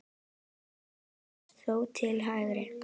Bragi snérist þó til hægri.